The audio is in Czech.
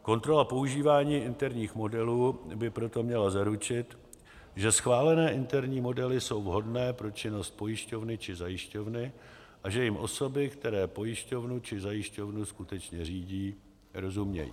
Kontrola používání interních modelů by proto měla zaručit, že schválené interní modely jsou vhodné pro činnost pojišťovny či zajišťovny a že jim osoby, které pojišťovnu či zajišťovnu skutečně řídí, rozumějí.